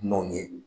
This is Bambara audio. Dunanw ye